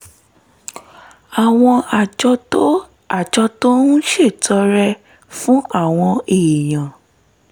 àwọn àjọ tó àjọ tó ń ṣètọrẹ fún àwọn èèyàn